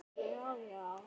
Nikki, Nikki!